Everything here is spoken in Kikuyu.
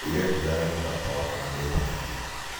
ndũire ngũiraga nĩ mũrata wakwa na ndũĩtĩkagia